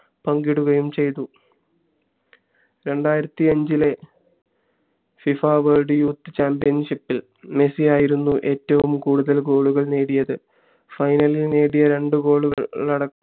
പങ്കിടുകയും ചെയ്തു രണ്ടായിരത്തി അഞ്ചിലേ ഫിഫ world youth championship ഇൽ മെസ്സിയായിരുന്നു ഏറ്റവും കൂടുതൽ goal കൾ നേടിയത് final ഇൽ നേടിയ രണ്ടു goal കൾ